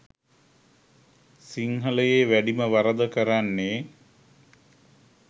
සිංහලයේ වැඩිම වරද කරන්නේ